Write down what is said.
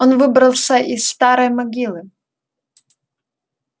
он выбрался из старой могилы